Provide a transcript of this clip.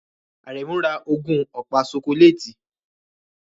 Aremu ra ogún ọ̀pá ṣokoléètì